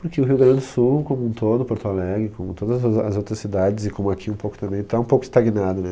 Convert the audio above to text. Porque o Rio Grande do Sul, como um todo, Porto Alegre, como todas as ah, as outras cidades, e como aqui um pouco também, está um pouco estagnado, né?